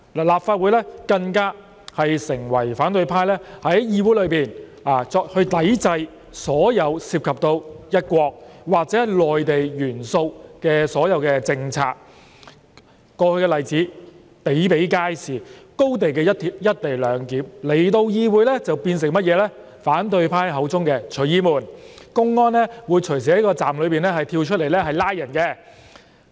立法會更成為反對派在議會內抵制所有涉及"一國"或"內地"元素的政策的地方，過去的例子比比皆是，例如廣深港高鐵香港段的"一地兩檢"來到議會便變為反對派口中的"隨意門"，說公安會隨時在站內跳出來拘捕人。